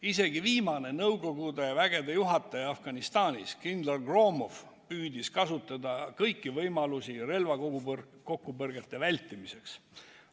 Isegi viimane Nõukogude vägede juhataja Afganistanis kindral Gromov püüdis kasutada kõiki võimalusi relvakokkupõrgete vältimiseks.